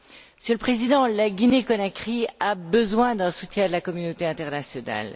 Monsieur le Président, la Guinée Conakry a besoin du soutien de la communauté internationale.